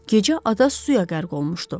Gecə ada suya qərq olmuşdu.